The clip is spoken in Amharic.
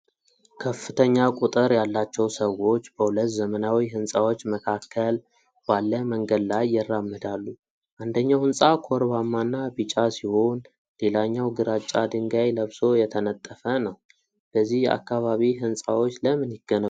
ከፍተኛ ቁጥር ያላቸው ሰዎች በሁለት ዘመናዊ ሕንፃዎች መካከል ባለ መንገድ ላይ ይራመዳሉ። አንደኛው ሕንፃ ኮርባማና ቢጫ ሲሆን፣ ሌላኛው ግራጫ ድንጋይ ለብሶ የተነጠፈ ነው። በዚህ አካባቢ ሕንፃዎች ለምን ይገነባሉ?